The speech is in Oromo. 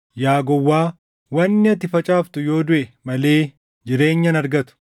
Yaa gowwaa! Wanni ati facaaftu yoo duʼe malee jireenya hin argatu.